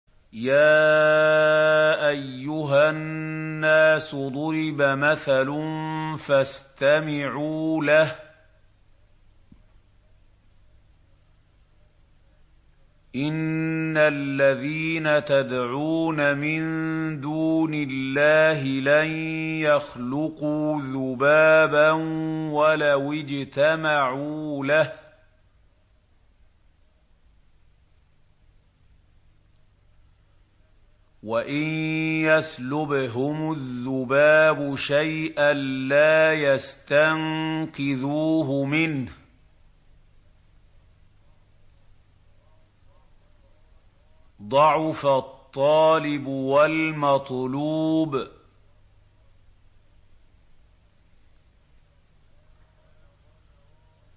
يَا أَيُّهَا النَّاسُ ضُرِبَ مَثَلٌ فَاسْتَمِعُوا لَهُ ۚ إِنَّ الَّذِينَ تَدْعُونَ مِن دُونِ اللَّهِ لَن يَخْلُقُوا ذُبَابًا وَلَوِ اجْتَمَعُوا لَهُ ۖ وَإِن يَسْلُبْهُمُ الذُّبَابُ شَيْئًا لَّا يَسْتَنقِذُوهُ مِنْهُ ۚ ضَعُفَ الطَّالِبُ وَالْمَطْلُوبُ